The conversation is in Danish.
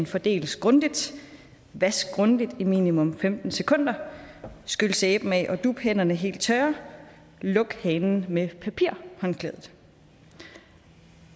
fordeles grundigt vask grundigt i minimum femten sekunder skyld sæben af og dup hænderne helt tørre luk hanen med papirhåndklædet